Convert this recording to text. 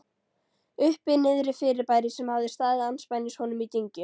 Uppi-Niðri-fyrirbæri, sem hafði staðið andspænis honum í dyngju